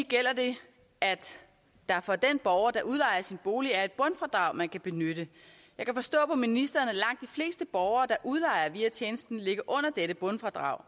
gælder det at der for den borger der udlejer sin bolig er et bundfradrag man kan benytte jeg kan forstå på ministeren at langt fleste borgere der udlejer via tjenesten ligger under dette bundfradrag